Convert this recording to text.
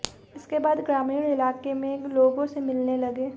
इसके बाद ग्रामीण इलाके में लोगों से मिलने लगे